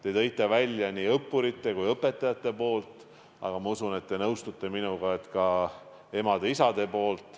Te tõite esile nii õppurite kui ka õpetajate poole, aga ma usun, et te nõustute minuga, et on ka emade-isade pool.